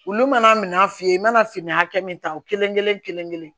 Olu mana minan f'i ye i mana fini hakɛ min ta o kelen-kelen kelen-kelen